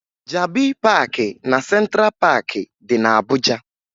Jabi Paakị na Sentra Paakị dị na Abuja